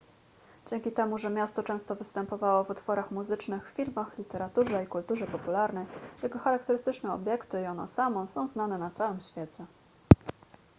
dzięki temu że miasto często występowało w utworach muzycznych filmach literaturze i kulturze popularnej jego charakterystyczne obiekty i ono samo są znane na całym świecie